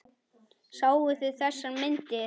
Sáuð þið þessar myndir?